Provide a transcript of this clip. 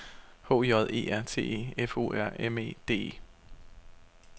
H J E R T E F O R M E D E